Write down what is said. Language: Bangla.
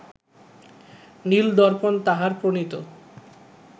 নীল-দর্পণ তাঁহার প্রণীত